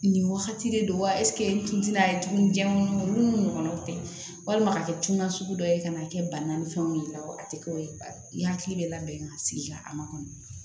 Nin wagati de don wa n ti na tuguni jɛman minnu nu ɲɔgɔnna o tɛ walima a ka kɛ na sugu dɔ ye ka na kɛ banna ni fɛnw ye wa a tɛ kɛ o ye i hakili bɛ labɛn ka sigi a ma kɔnɔ